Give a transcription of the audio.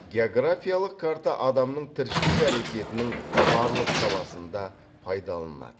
географиялық карта адамның тіршілік әрекетінің барлық саласында пайдаланылады